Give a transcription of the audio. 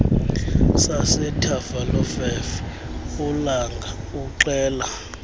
sasethafalofefe ulanga uxela